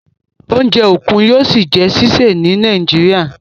Oúnjẹ okun yóò sí jé ṣiṣẹ ní Nàìjíríà.